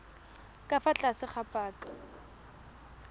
ka fa tlase ga paka